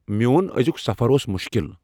میون أزِیُک سفر اُوس مُشکل ۔